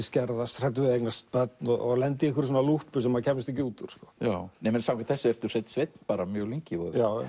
skerðast hræddur við að eignast börn og lenda í lúppu sem maður kæmist ekki út úr samkvæmt þessu ertu hreinn sveinn mjög lengi